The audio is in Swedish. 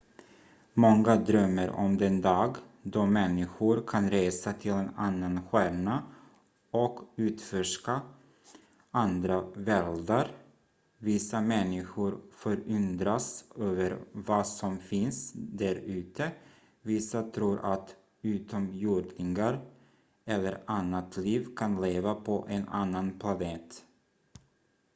många drömmer om den dag då människor kan resa till en annan stjärna och utforska andra världar vissa människor förundras över vad som finns där ute vissa tror att utomjordingar eller annat liv kan leva på en annan planet